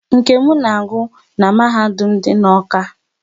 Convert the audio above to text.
Nkem na agụ n'mahadum dị n'Awka